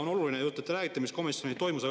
On oluline, et te räägite, mis komisjonis toimus.